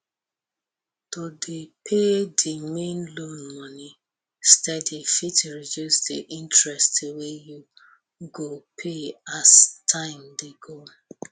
to dey pay di main loan money steady fit reduce di interest wey you go pay as time dey go